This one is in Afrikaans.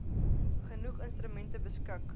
genoeg instrumente beskik